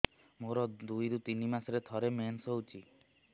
ମୋର ଦୁଇରୁ ତିନି ମାସରେ ଥରେ ମେନ୍ସ ହଉଚି